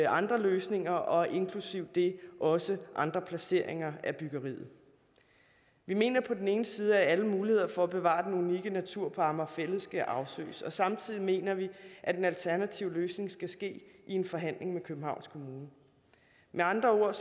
andre løsninger og inklusive det også andre placeringer af byggeriet vi mener på den ene side at alle muligheder for at bevare den unikke natur på amager fælled skal afsøges og samtidig mener vi at en alternativ løsning skal ske i en forhandling med københavns kommune med andre ord er